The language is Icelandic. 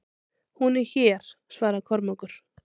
Hún er hér, svaraði Kormákur.